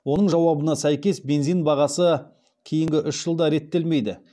оның жауабына сәйкес бензин бағасы кейінгі үш жылда реттелмейді